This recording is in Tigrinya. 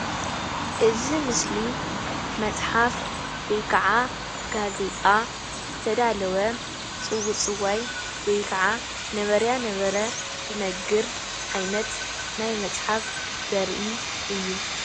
እዚ ምስሊ መፅሓፍ ወይ ከዓ ጋዜጣ ዝተዳለወ ፅውፅዋይ ወይ ከዓ ነበረያ ነበረ ዝነግር ዓይነት ናይ መፅሓፍ ዘርኢ እዩ፡፡